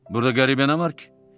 Burada qəribə nə var ki?